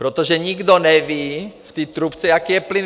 Protože nikdo neví v té trubce, jaký je plyn.